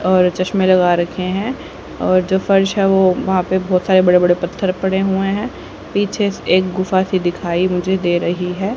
और चश्में लगा रखें हैं और जो फर्श है वो वहां पे बहोत सारे बड़े बड़े पत्थर पड़े हुए हैं पीछे से एक गुफा सी दिखाई मुझे दे रही है।